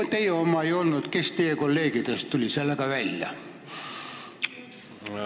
Kui teie oma ei olnud, siis kes teie kolleegidest tuli sellega välja?